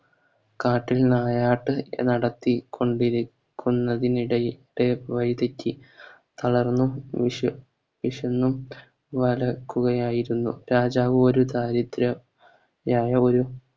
രാത്രി നായാട്ട് നടത്തി കൊണ്ടൊരിക്കുന്നതിനിടയിൽ ഇദ്ദേഹം വയിതെറ്റി തളർന്നു വിശ വിശന്നു നട ക്കുകയായിരുന്നു രാജാവ് ഒരു ദാരിദ്ര നായഒരു